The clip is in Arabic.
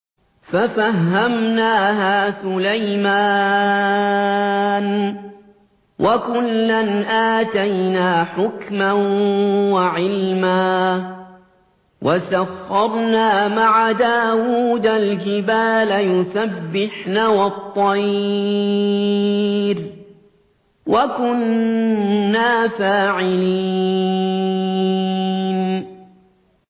فَفَهَّمْنَاهَا سُلَيْمَانَ ۚ وَكُلًّا آتَيْنَا حُكْمًا وَعِلْمًا ۚ وَسَخَّرْنَا مَعَ دَاوُودَ الْجِبَالَ يُسَبِّحْنَ وَالطَّيْرَ ۚ وَكُنَّا فَاعِلِينَ